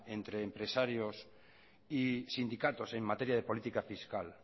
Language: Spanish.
entre empresarios y sindicatos en materia de política fiscal